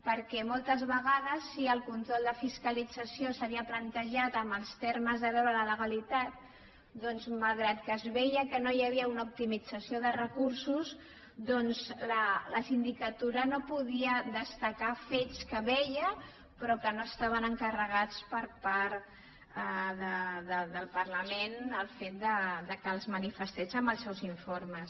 perquè moltes vegades si el control de fiscalització s’havia plantejat en els termes de veure la legalitat doncs malgrat que es veia que no hi havia una optimització de recursos la sindicatura no podia destacar fets que veia però que no estaven encarregats per part del parlament el fet que els manifestés en els seus informes